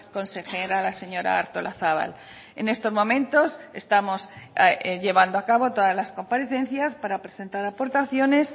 consejera la señora artolazabal en estos momentos estamos llevando a cabo todas las comparecencias para presentar aportaciones